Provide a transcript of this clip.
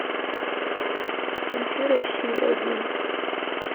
включи россию один